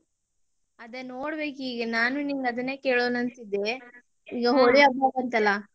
ಅದೇ ನೋಡ್ಬೇಕಿಗ, ನಾನು ನಿನ್ನ ಅದನೇ ಕೇಳೋಣ ಅಂತ ಇದ್ದೆ, ಹೋಳಿ ಹಬ್ಬ ಬಂತಲಾ.